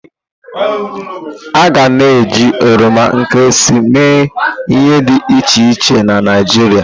A ga na eji oroma nkịrịsị emee ihe dị iche iche na Naịjirịa.